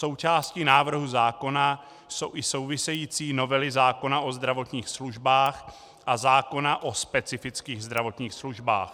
Součástí návrhu zákona jsou i související novely zákona o zdravotních službách a zákona o specifických zdravotních službách.